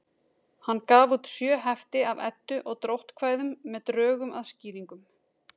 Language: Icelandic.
Hann gaf út sjö hefti af Eddu- og dróttkvæðum með drögum að skýringum.